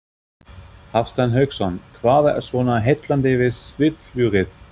Hafsteinn Hauksson: Hvað er svona heillandi við svifflugið?